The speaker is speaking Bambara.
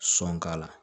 Sɔn k'a la